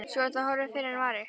Svo er það horfið fyrr en varir.